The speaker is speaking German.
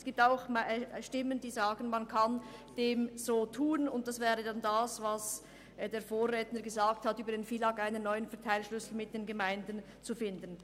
Es gibt auch Stimmen, die sagen, man könne so vorgehen, wie es mein Vorredner skizziert hat, und über das FILAG einen neuen Verteilschlüssel mit den Gemeinden finden.